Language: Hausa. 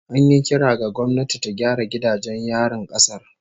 An yi kira ga gwamnati ta gyara gidajen yarin kasar